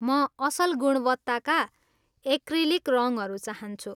म असल गुणवत्ताका एक्रिलिक रङहरू चाहन्छु।